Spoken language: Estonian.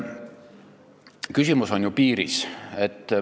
Küsimus on ju piiris.